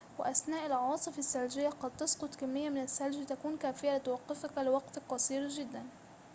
وأثناء العواصف الثلجية قد تسقط كمية من الثلج تكون كافية لتوقفك لوقت قصير جداً